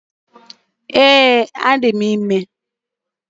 Ee, adị m ime